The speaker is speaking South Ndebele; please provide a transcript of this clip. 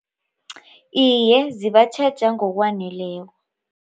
Iye zibatjheja ngokwaneleko.